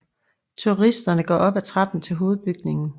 Turisterne går op af trappen til Hovedbygningen